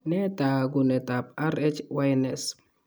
Nee taakunetaab RHYNS?